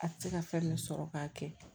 A tɛ se ka fɛn min sɔrɔ k'a kɛ